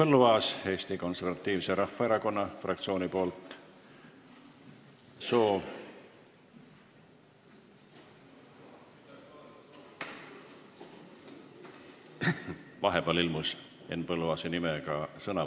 Henn Põlluaas Eesti Konservatiivse Rahvaerakonna fraktsiooni esindajana.